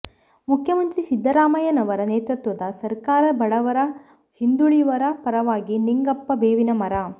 ಮುಖ್ಯಮಂತ್ರಿ ಸಿದ್ದರಾಮಯ್ಯನವರ ನೇತೃತ್ವದ ಸರಕಾರ ಬಡವರ ಹಿಂದುಳಿವರ ಪರವಾಗಿದೆ ಃ ನಿಂಗಪ್ಪ ಬೇವಿನಮರದ